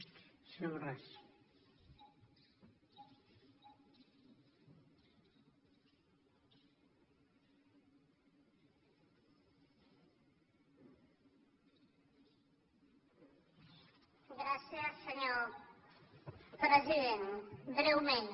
gràcies senyor president breument